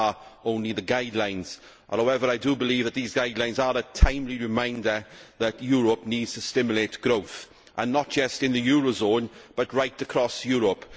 These are only the guidelines. However, I do believe that these guidelines are a timely reminder that Europe needs to stimulate growth not just in the eurozone, but right across Europe.